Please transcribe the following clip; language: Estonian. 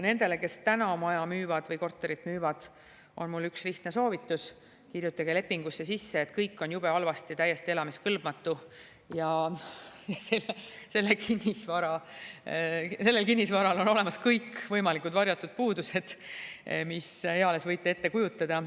Nendele, kes praegu maja või korterit müüvad, on mul üks lihtne soovitus: kirjutage lepingusse sisse, et kõik on jube halvasti, täiesti elamiskõlbmatu, ja sellel kinnisvaral on olemas kõikvõimalikud varjatud puudused, mida eales võite ette kujutada.